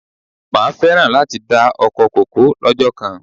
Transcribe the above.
Máa féràn láti dá ọkọ kòkó lọ́jọ́ kan.